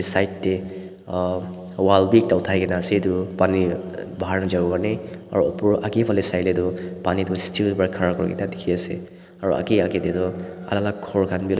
side de uhh wall b ekta utai kina se etu pani bahar najavo karnae aro upor ageh faleh saile tu pani tu still ba ghara kurina diki ase aro ageh ageh de tu alak alak ghor kan b.